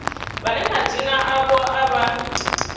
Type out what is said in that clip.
vhane madzina avho a vha